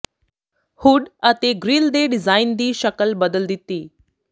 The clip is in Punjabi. ਹੁੱਡ ਅਤੇ ਗ੍ਰਿਲ ਦੇ ਡਿਜ਼ਾਇਨ ਦੀ ਸ਼ਕਲ ਬਦਲ ਦਿੱਤੀ